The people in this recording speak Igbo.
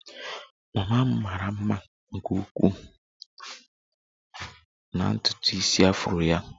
Mama m mara mma nke ukwuu na ntutu isi afro ya